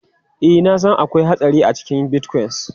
Ee, na san akwai hatsari a cikin Bitcoin.